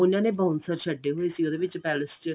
ਉਹਨਾ ਨੇ bouncers ਛੱਡੇ ਹੋਏ ਸੀ ਉਹਦੇ ਵਿੱਚ ਪੈਲੇਸ ਚ